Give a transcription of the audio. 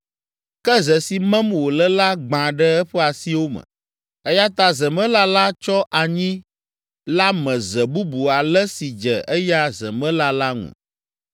Ke ze si mem wòle la gbã ɖe eƒe asiwo me, eya ta zemela la tsɔ anyi la me ze bubu ale si dze eya zemela la ŋu.